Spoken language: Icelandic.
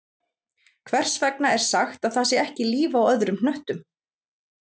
Hvers vegna er sagt að það sé ekki líf á öðrum hnöttum?